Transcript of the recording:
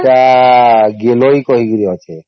ସେତ ଗୀଲାଉ କହିକରି ଅଛେ